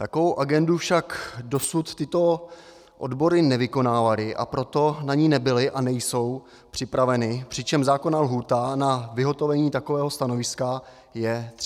Takovou agendu však dosud tyto odbory nevykonávaly, a proto na ni nebyly a nejsou připraveny, přičemž zákonná lhůta na vyhotovení takového stanoviska je 30 dnů.